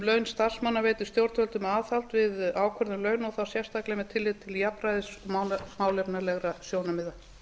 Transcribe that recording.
starfsmanna veitir stjórnvöldum aðhald við ákvörðun launa og þá sérstaklega með tilliti til jafnræðis málefnalegra sjónarmiða